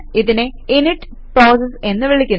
ഇതിനെ init process എന്ന് വിളിക്കുന്നു